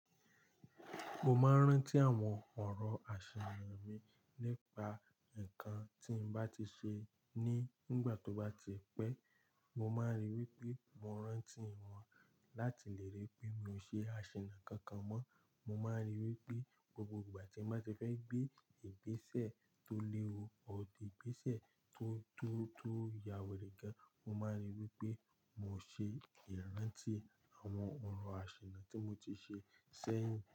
Mo máa ń rántí àwọn ọ̀rọ̀ àṣà mi nípa nǹkan tí mo bá ti ṣe ní ìgbà tó bá ti pẹ́. Mo máa ń ríi wí pé mo rántí wọn láti lè rí pé mi ò ṣe àṣina kankan mọ́. Mo máa ń rí i wí pé gbogbo ìgbà tí mo bá ti fẹ́ gbé ìgbésẹ̀ tó léwu, ọ̀dí ìgbésẹ̀ tó, tó, tó yá wèrè gan, mo máa ń rí i wí pé mo ṣe ìrántí àwọn ọ̀rọ̀ àṣina tí mo ti ṣe sẹ́yìn.